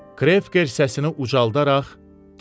Krefker səsini ucaldaraq dedi: